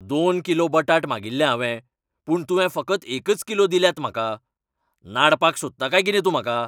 दोन किलो बटाट मागिल्ले हांवें पूण तुवें फकत एकच किलो दिल्यात म्हाका! नाडपाक सोदता काय कितें तूं म्हाका?